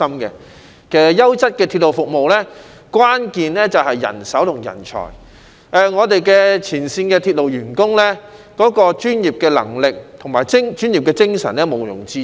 其實，優質鐵路服務的關鍵便是人手和人才，我們前線鐵路員工的專業能力和精神是毋庸置疑的。